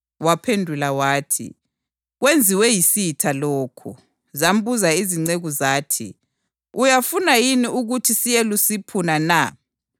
Waphendula wathi, ‘Kwenziwe yisitha lokhu.’ Zambuza izinceku zathi, ‘Uyafuna yini ukuthi siyelusiphuna na?’